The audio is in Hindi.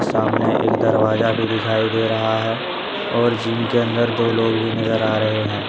सामने एक दरवाजा भी दिखाई दे रहा है और जिम के अंदर दो लोग भी नजर आ रहे हैं।